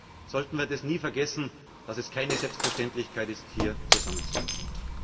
Deswegen sollten wir nie vergessen, dass es keine Selbstverständlichkeit ist, hier zusammenzusitzen.